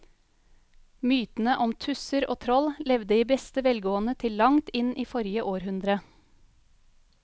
Mytene om tusser og troll levde i beste velgående til langt inn i forrige århundre.